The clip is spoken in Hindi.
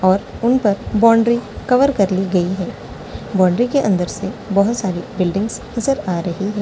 और उन पर बाउंड्री कवर कर ली गयी है बाउंड्री के अन्दर से बहुत सारी बिल्डिंग नजर आ रही है।